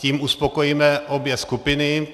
Tím uspokojíme obě skupiny.